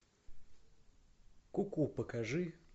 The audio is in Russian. куку покажи